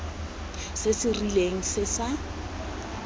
se se rileng se sa